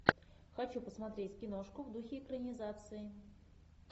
хочу посмотреть киношку в духе экранизации